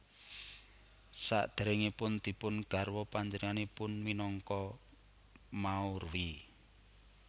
Sakderengipun dipun garwa panjenenganipun minangka Maurwi